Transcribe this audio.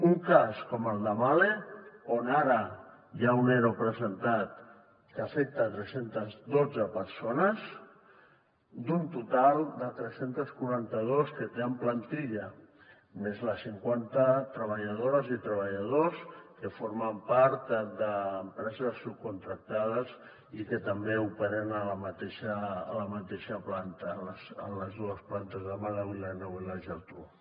un cas com el de mahle on ara hi ha un ero presentat que afecta tres cents i dotze persones d’un total de tres cents i quaranta dos que té en plantilla més les cinquanta treballadores i treballadors que formen part d’empreses subcontractades i que també operen a la mateixa planta a les dues plantes de mahle a vilanova i la geltrú